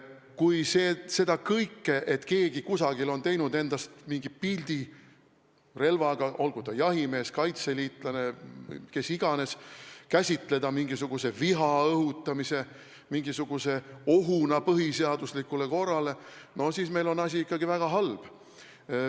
Kui lihtsalt seda, et keegi kusagil on teinud endast mingi pildi relvaga – olgu ta jahimees, kaitseliitlane, kes iganes – käsitada mingisuguse viha õhutamisena, mingisuguse ohuna põhiseaduslikule korrale, no siis meil on asi ikkagi väga halb.